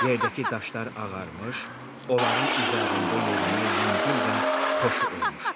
Yerdəki daşlar ağarmış, onların üzərində yerimək yüngül və xoşu olmuşdu.